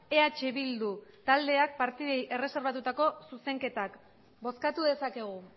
eh bildu taldeak partidei erreserbatutako zuzenketak bozkatu dezakegu